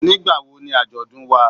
Nígbà wo ni Ajodun wá.?